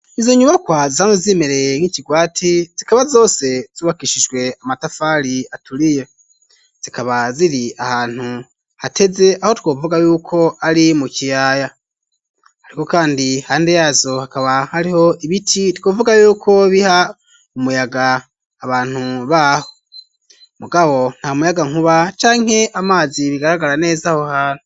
Izo nyubakwa zano zimereye nk'ikigwati zikaba zose zubakishijwe amatafari aturiye zikaba ziri ahantu hateze aho twovuga yuko ari mu kiyaya ariko kandi hande yazo hakaba hariho ibiti twovuga yuko biha umuyaga abantu baho mugabo nta muyaga nkuba canke amazi bigaragara neza aho hantu.